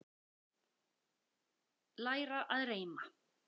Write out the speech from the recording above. Læra að reima